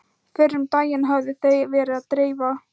Fyrr um daginn höfðu þau verið að dreifa